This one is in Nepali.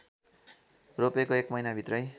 रोपेको १ महिनाभित्रै